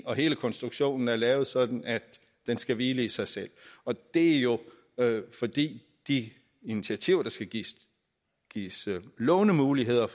og hele konstruktionen er lavet sådan at den skal hvile i sig selv og det er jo fordi de initiativer der skal gives gives lånemuligheder